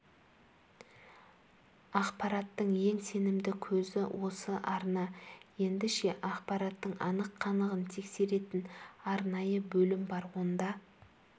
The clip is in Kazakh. ақпараттың ең сенімді көзі осы арна енді ше ақпараттың анық-қанығын тексеретін арнайы бөлім бар онда